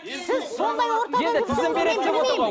сіз сондай ортада жүрсеңіз мен жүрмеймін